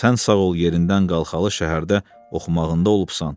Sən sağ ol yerindən qalxalı şəhərdə oxumağında olubsan.